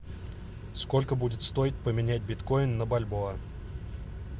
сколько будет стоить поменять биткоин на бальбоа